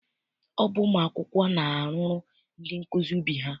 Ọ bụ ụmụ akwụkwọ na-arụrụ ndị nkụzi ubi ha.